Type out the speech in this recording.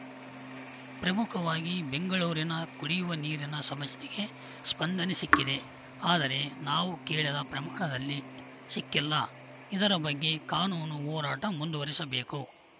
ಪ್ರಮುಖವಾಗಿ ಬೆಂಗಳೂರಿನ ಕುಡಿಯುವ ನೀರಿನ ಸಮಸ್ಯೆಗೆ ಸ್ಪಂದನೆ ಸಿಕ್ಕಿದೆ ಆದರೆ ನಾವು ಕೇಳದ ಪ್ರಮಾಣದಲ್ಲಿ ಸಿಕ್ಕಿಲ್ಲ ಇದರ ಬಗ್ಗೆ ಕಾನೂನು ಹೋರಾಟ ಮುಂದುವರಿಸಬೇಕು